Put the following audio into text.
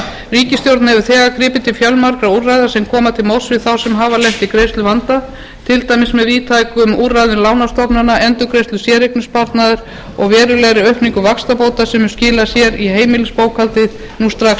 ríkisstjórnin hefur þegar gripið til fjölmargra úrræða sem koma til móts við þá sem hafa lent í greiðsluvanda til dæmis með víðtækum úrræðum lánastofnana endurgreiðslu séreignarsparnaðar og verulegri aukningu vaxtabóta sem mun skila sér í heimilisbókhaldið nú strax